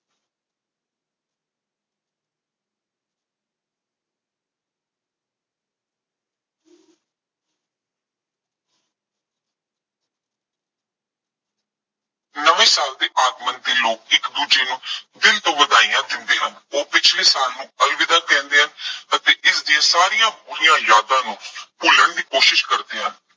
ਨਵੇਂ ਸਾਲ ਦੇ ਆਗਮਨ ਤੇ ਲੋਕ ਇੱਕ ਦੂਜੇ ਨੂੰ ਦਿਲ ਤੋਂ ਵਧਾਈਆ ਦਿੰਦੇ ਹਨ। ਉਹ ਪਿਛਲੇ ਸਾਲ ਨੂੰ ਅਲਵਿਦਾ ਕਹਿੰਦੇ ਹਨ ਅਤੇ ਇਸ ਦੀਆਂ ਸਾਰੀਆਂ ਬੁਰੀਆਂ ਯਾਦਾਂ ਨੂੰ ਭੁੱਲਣ ਦੀ ਕੋਸ਼ਿਸ਼ ਕਰਦੇ ਹਨ।